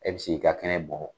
E bi se k'i ka kɛnɛ bɔ